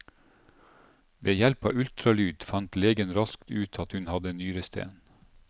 Ved hjelp av ultralyd fant legen raskt ut at hun hadde nyresten.